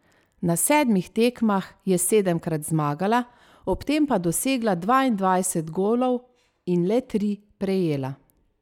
Na sedmih tekmah je sedemkrat zmagala, ob tem pa dosegla dvaindvajset golov in le tri prejela.